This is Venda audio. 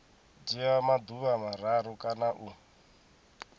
dzhia maḓuvha mararu kana u